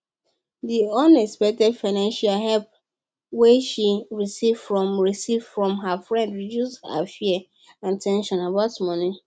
di unexpected financial help wey she receive from receive from her friend reduce her fear and ten sion about money